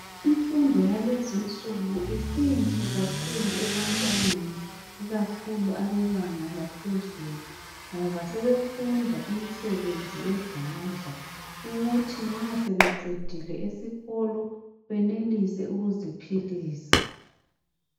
Imfundo yalezi nsuku isinhle kakhulu ebantwaneni ikakhulu abebanga laphezulu ngoba sebefunda imisebenzi yezandla ukuthi nxa sebeqedile esikolo benelise ukuziphilisa.